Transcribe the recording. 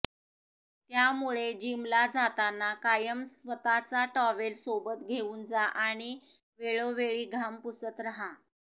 त्यामुळे जिमला जाताना कायम स्वतःचा टॉवेल सोबत घेऊन जा आणि वेळोवेळी घाम पुसत राहा